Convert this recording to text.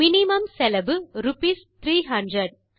minimum செலவு rupees 300